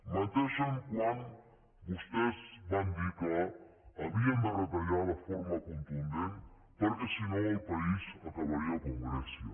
menteixen quan vostès van dir que havien de retallar de forma contundent perquè si no el país acabaria com grècia